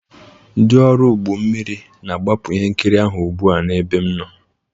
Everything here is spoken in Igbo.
dị ọrụ ụgbọ mmiri na-agbapụ ihe nkiri ahụ ugbu a n'ebe m nọ